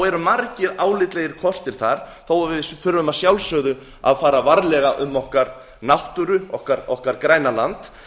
eru margir álitlegir kostir þar þó að við þurfum að sjálfsögðu að fara varlega um okkar náttúru okkar græna land